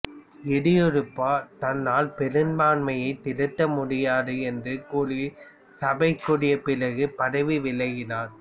எடியூரப்பா தன்னால் பெரும்பான்மையை திரட்ட முடியாது என்று கூறி சபை கூடிய பிறகு பதவி விலகினார்